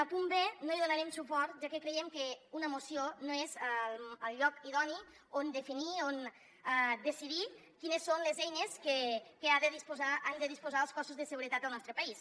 al punt b no hi donarem suport ja que creiem que una moció no és el lloc idoni on definir on decidir quines són les eines de què han de disposar els cossos de seguretat del nostre país